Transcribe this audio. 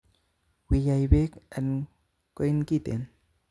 Wii yai bek en koin'kiten